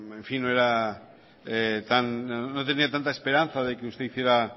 en fin no tenía tanta esperanza de que usted hiciera